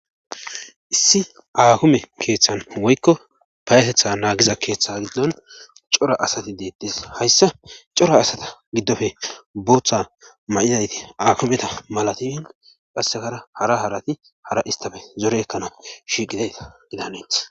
issi aakime keeththan woykko payatetha naagiza keeththa giddon cora asati deettes hayssa cora asata giddofe booththa ma7idayti akumeta malatiin qassekara hara harati hara istafe zore ekkana shiiqitayta gidana danetees